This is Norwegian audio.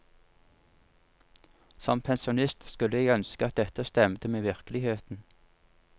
Som pensjonist skulle jeg ønske at dette stemte med virkeligheten.